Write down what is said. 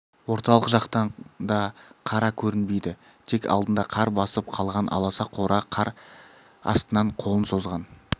орталық жақтан да қара көрінбейді тек алдында қар басып қалған аласа қора қар астынан қолын созған